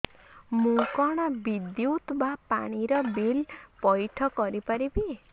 ମୁ କଣ ବିଦ୍ୟୁତ ବା ପାଣି ର ବିଲ ପଇଠ କରି ପାରିବି